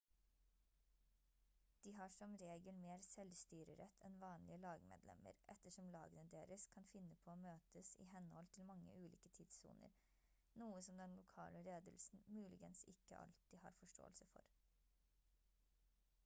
de har som regel mer selvstyrerett enn vanlige lagmedlemmer ettersom lagene deres kan finne på å møtes i henhold til mange ulike tidssoner noe som den lokale ledelsen muligens ikke alltid har forståelse for